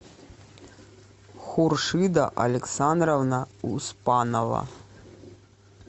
хуршида александровна успанова